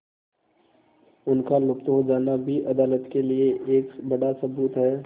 उनका लुप्त हो जाना भी अदालत के लिए एक बड़ा सबूत है